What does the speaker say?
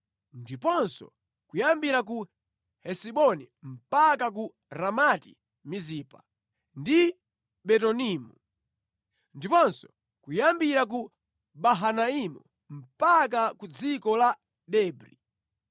ndiponso kuyambira ku Hesiboni mpaka ku Ramati-Mizipa, ndi Betonimu; ndiponso kuyambira ku Mahanaimu mpaka ku dziko la Debri.